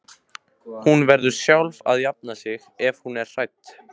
Hún verður sjálf að jafna sig ef hún er hrædd.